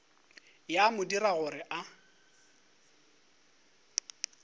ya mo dira gore a